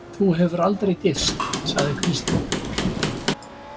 Þú hefur aldrei gifst, sagði Kristín.